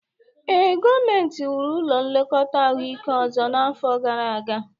Ee, gọọmentị wuru ụlọ nlekọta ahụike ọzọ n'afọ gara aga